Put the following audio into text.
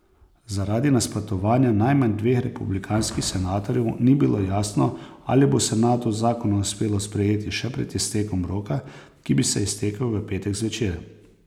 Zaradi nasprotovanja najmanj dveh republikanskih senatorjev ni bilo jasno, ali bo senatu zakon uspelo sprejeti še pred iztekom roka, ki bi se iztekel v petek zvečer.